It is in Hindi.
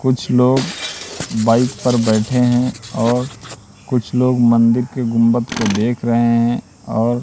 कुछ लोग बाइक पर बैठे हैं और कुछ लोग मंदिर के गुंबद को देख रहे हैं और--